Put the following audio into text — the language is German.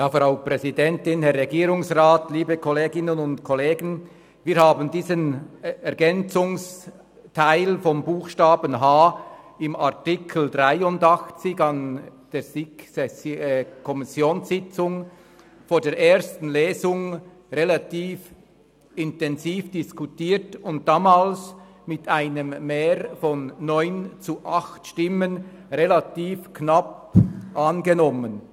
der SiK. Wir haben diesen Ergänzungsteil um den Buchstaben h im Artikel 83 an der SiK-Kommissionssitzung vor der ersten Lesung relativ intensiv diskutiert und damals mit einem Mehr von 9 zu 8 Stimmen relativ knapp angenommen.